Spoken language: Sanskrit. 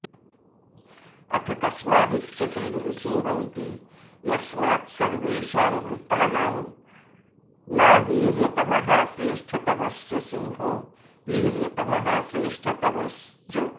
अथ कस्मादुच्यते नृसिंहमिति यस्मात्सर्वेषां भूतानां ना वीर्यतमः श्रेष्ठतमश्च सिंहो वीर्यतमः श्रेष्ठतमश्च